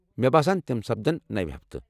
مےٚ باسان تم سپدن نوِ ہفتہٕ۔